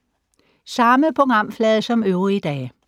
Samme programflade som øvrige dage